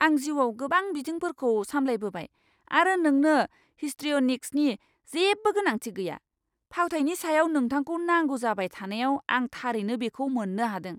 आं जिउआव गोबां बिथिंफोरखौ सामलायबोबाय आरो नोंनो हिस्ट्रिय'निक्सनि जेबो गोनांथि गैया। फावथाइनि सायाव नोंथांखौ नांगौ जाबाय थानायाव आं थारैनो बेखौ मोननो हादों!